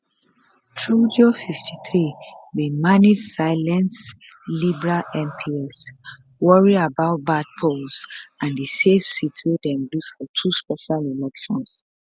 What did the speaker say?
trudeau 53 bin manage silence liberal mps worry about bad polls and di safe seats wey dem lose for two special elections